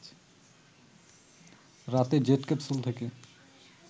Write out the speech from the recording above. রাতে jet capsule থেকে